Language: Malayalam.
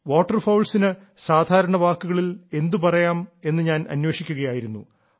വാട്ടർഫൌൾസിന് സാധാരണ വാക്കുകളിൽ എന്തുപറയാം എന്ന് ഞാൻ അന്വേഷിക്കുകയായിരുന്നു